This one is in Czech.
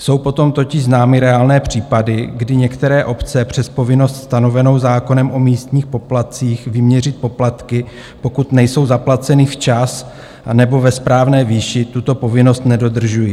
Jsou potom totiž známy reálné případy, kdy některé obce přes povinnost stanovenou zákonem o místních poplatcích vyměřit poplatky, pokud nejsou zaplaceny včas anebo ve správné výši, tuto povinnost nedodržují.